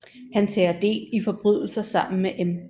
Han tager del i forbrydelser sammen med M